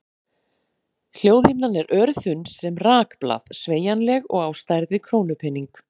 Hljóðhimnan er örþunn sem rakblað, sveigjanleg og á stærð við krónupening.